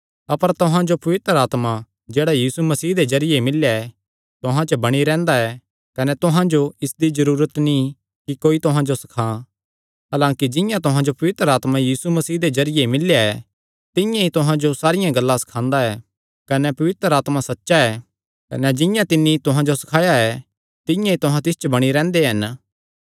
अपर तुहां जो पवित्र आत्मा जेह्ड़ा यीशु मसीह दे जरिये मिल्लेया ऐ तुहां च बणी रैंह्दा ऐ कने तुहां जो इसदी जरूरत नीं कि कोई तुहां जो सखां हलांकि जिंआं तुहां जो पवित्र आत्मा यीशु मसीह दे जरिये मिल्लेया ऐ तिंआं ई तुहां जो सारियां गल्लां सखांदा ऐ कने पवित्र आत्मा सच्चा ऐ कने झूठा नीं कने जिंआं तिन्नी तुहां जो सखाया ऐ तिंआं ई तुहां तिस च बणी रैंह्दे हन